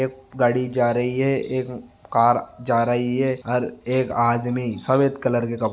एक गाड़ी जा रही है एक कार जा रही है हर एक आदमी सफ़ेद कलर के कपड़ो मैं--